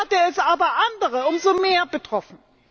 Dafür hat es aber andere umso mehr getroffen.